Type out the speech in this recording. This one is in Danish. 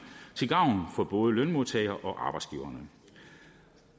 til gavn for både lønmodtagere og arbejdsgivere